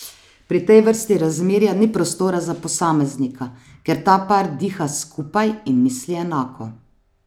Pri tej vrsti razmerja ni prostora za posameznika, ker ta par diha skupaj in misli enako.